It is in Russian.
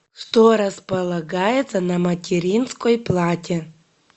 что располагается на материнской плате